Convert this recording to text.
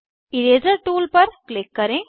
eraser tool पर click करें